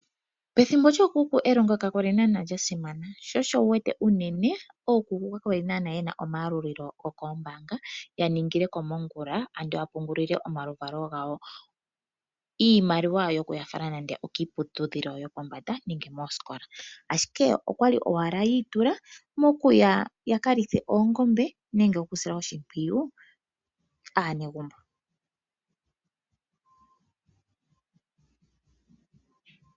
Pethimbo lyookuku elongo kakwali naana lyasimana, sho osho wu wete unene ookuku kayali naana ye na omayalulilo gokombaanga ya pungulile omaluvalo gawo iimaliwa yoku ya fala nande okiiputudhilo yopombanda nenge moosikola, ashike oyali owala yi itula mokuya yakalithe oongombe nenge okusila aanegumbo oshimpwiyu.